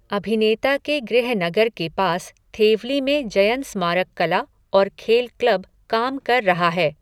अभिनेता के गृहनगर के पास थेवली में जयन स्मारक कला और खेल क्लब काम कर रहा है।